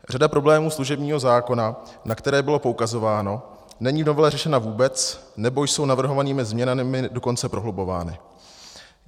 Řada problémů služebního zákona, na které bylo poukazováno, není v novele řešena vůbec nebo jsou navrhovanými změnami dokonce prohlubovány.